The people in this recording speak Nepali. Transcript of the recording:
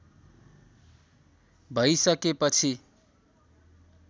भै सके पछि